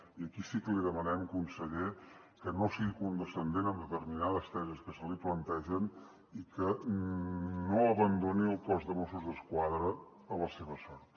i aquí sí que li demanem conseller que no sigui condescendent amb determinades tesis que se li plantegen i que no abandoni el cos de mossos d’esquadra a la seva sort